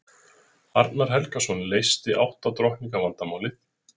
Arnar Helgason leysti átta drottninga vandamálið.